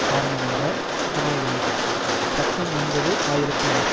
காரணமாக அமையவில்லை பக்கம் ஒன்பது ஆயிரத்தி நூறு